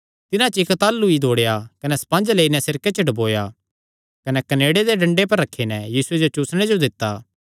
तिन्हां च इक्क ताह़लू ई दौड़ेया कने स्पंज लेई नैं सिरके च डुबाया कने कनेड़े दे डंडे पर रखी नैं यीशुये जो चुसणे जो दित्ता